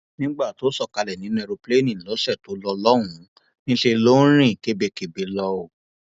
nígbà tó sọ kalẹ nínú èròǹpilẹẹni lọsẹ tó lọ lọhùnún níṣẹ ló ń rìn kébékébé lọ o